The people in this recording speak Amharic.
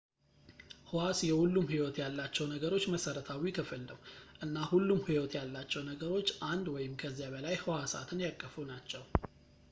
ሕዋስ የሁሉም ሕይወት ያላቸው ነገሮች መሠረታዊ ክፍል ነው እና ሁሉም ሕይወት ያላቸው ነገሮች አንድ ወይም ከዚያ በላይ ሕዋሳትን ያቀፉ ናቸው